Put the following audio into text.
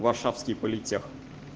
варшавский политех